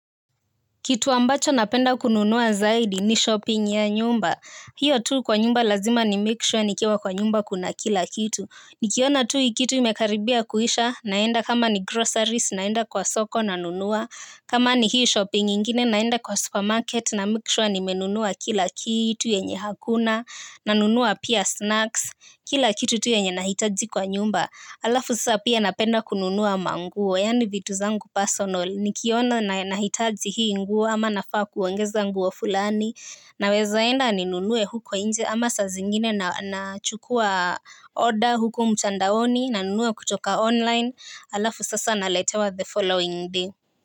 Kitu ambacho napenda kununua zaidi ni shopping ya nyumba. Hiyo tu kwa nyumba lazima ni make sure nikiwa kwa nyumba kuna kila kitu. Nikiona tu hii kitu imekaribia kuisha naenda kama ni groceries naenda kwa soko nanunua. Kama ni hii shopping nyingine naenda kwa supermarket na make sure nimenunua kila kitu yenye hakuna. Nanunua pia snacks, kila kitu tu yenye nahitaji kwa nyumba alafu sasa pia napenda kununua manguo, yani vitu zangu personal, nikiona na hitaji hii nguo ama nafaa kuongeza nguo fulani. Nawezaenda ninunue huko nje ama sazingine na chukua order huko mtandaoni nanunua kutoka online, alafu sasa naletewa the following day.